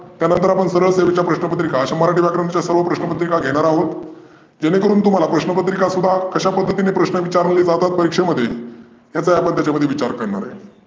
त्यानंतर सरळ सेवेच्या अशा मराठी व्याकरणाच्या सर्व प्रश्न पत्रिका घेणार आहोत. जेने करून तुम्हाला प्रश्नपत्रीका कुठ कशा प्रकारे प्रश्न विचारली जातात परिक्षेमध्ये याचा आपण त्याच्यामध्ये विचार करणार आहोत.